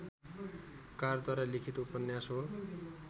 कारद्वारा लिखित उपन्यास हो